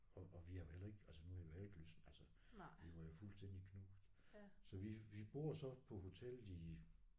Og og vi har jo heller ikke altså nu har vi jo heller ikke lyst altså. Vi var jo fuldstændig knust. Så vi vi bor så på hotellet i